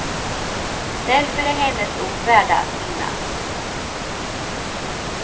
Därför är hennes ord värda att minnas.